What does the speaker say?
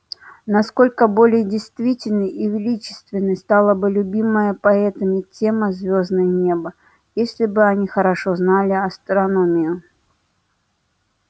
насколько более действенной и величественной стала бы любимая поэтами тема звёздное неба если бы они хорошо знали астрономию